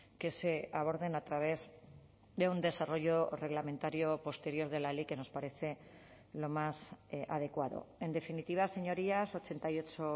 que se aborden a través de un desarrollo reglamentario posterior de la ley que nos parece lo más adecuado en definitiva señorías ochenta y ocho